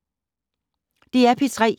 DR P3